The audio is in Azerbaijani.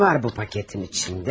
Nə var bu paketinn içində?